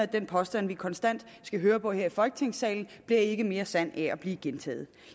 den påstand vi konstant skal høre på her i folketingssalen bliver ikke mere sand af at blive gentaget